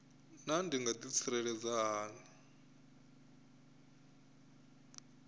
naa ndi nga ḓitsireledza hani